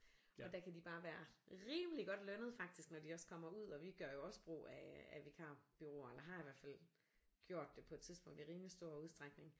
Og der kan de bare være rimelig godt lønnet faktisk når de også kommer ud og vi gør jo også brug af af vikarbureauer eller har i hvert fald gjort det på et tidspunkt i rimelig stor udstrækning